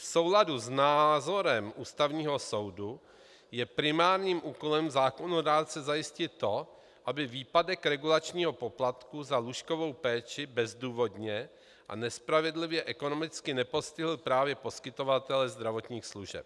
V souladu s názorem Ústavního soudu je primárním úkolem zákonodárce zajistit to, aby výpadek regulačního poplatku za lůžkovou péči bezdůvodně a nespravedlivě ekonomicky nepostihl právě poskytovatele zdravotních služeb.